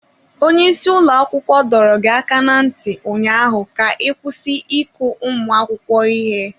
Onye isi ụlọ akwụkwọ dọrọ gị aka ná ntị ụnyaahụ ka ị kwụsị ịkụ ụmụ akwụkwọ ihe!